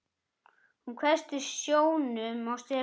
Hún hvessti sjónum á Stefán.